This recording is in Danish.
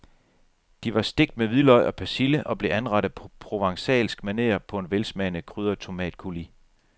De var stegt med hvidløg og persille og blev anrettet på provencalsk maner på en velsmagende krydret tomatcoulis.